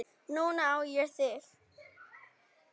Núna á ég þig.